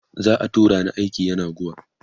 za'a tura ni aiki yenagoa